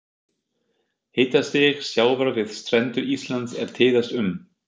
Hitastig sjávar við strendur Íslands er tíðast um